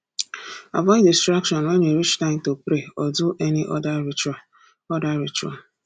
avoid distraction when e reach time to pray or do any other ritual other ritual